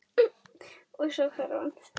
Og- svo hvarf hann.